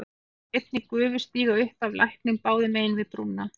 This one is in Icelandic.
Hann sér einnig gufu stíga upp af læknum báðum megin við brúna.